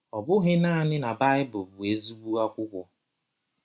Ọ bụghị naanị na Baịbụl bụ ezịgbọ akwụkwọ.